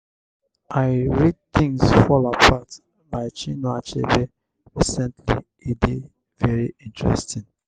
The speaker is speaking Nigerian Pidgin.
i read 'things fall apart' by chinue achebe recently e dey very interesting.